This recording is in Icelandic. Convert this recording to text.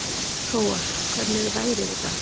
Hróar, hvernig er veðrið í dag?